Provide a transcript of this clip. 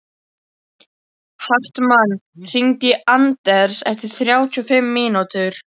Hartmann, hringdu í Anders eftir þrjátíu og fimm mínútur.